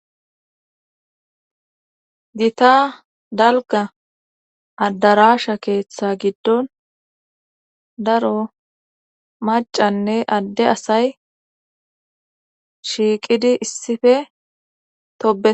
gita dalga addarasha keeththa giddon daro macanne adde asay shiiqidi issife toe